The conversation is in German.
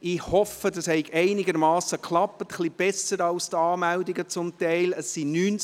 Ich hoffe, das habe einigermassen geklappt, etwas besser als zum Teil die Anmeldungen.